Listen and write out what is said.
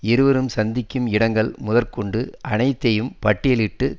இருவரும் சந்திக்கும் இடங்கள் முதற்கொண்டு அனைத்தையும் பட்டியலிட்டு